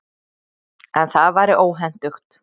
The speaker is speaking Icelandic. En það væri óhentugt.